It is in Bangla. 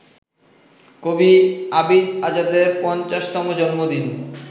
কবি আবিদ আজাদের পঞ্চাশতম জন্মদিন